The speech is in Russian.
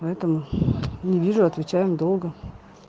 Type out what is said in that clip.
поэтому не вижу отвечаем долго